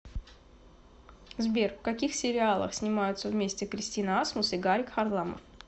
сбер в каких сериалах снимаются вместе кристина асмус и гарик харламов